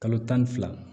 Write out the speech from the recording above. Kalo tan ni fila